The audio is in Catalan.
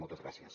moltes gràcies